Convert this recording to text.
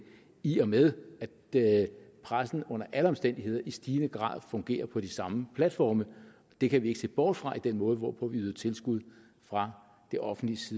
i og med at pressen under alle omstændigheder i stigende grad fungerer på de samme platforme det kan vi ikke se bort fra i den måde hvorpå vi yder tilskud fra det offentliges